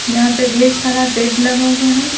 यहां पे ढेर सारा बेड लगा हुआ है।